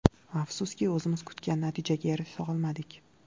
Afsuski, o‘zimiz kutgan natijaga erisha olmadik.